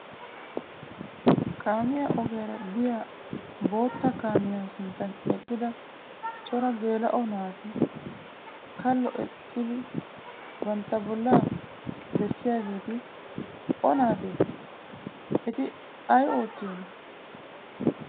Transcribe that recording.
Kaamiya ogiyaara biya bootta kaamiyaa sinttan eqqida cora geela'o naati kallo eqqida ba bollaa bessiyaageeti o naatee? Eti ayi oottiyoonaa?